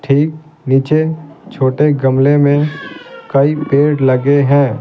ठीक नीचे छोटे गमले में कई पेड़ लगे हैं।